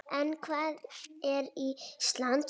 En hvað er Ísland?